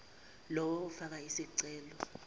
lowo ofake isicelo